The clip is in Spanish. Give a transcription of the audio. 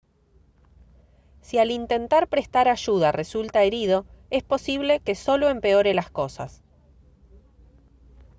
si al intentar prestar ayuda resulta herido es posible que solo empeore las cosas